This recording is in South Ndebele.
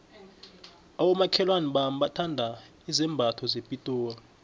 abomakhelwana bami bathanda izambatho zepitori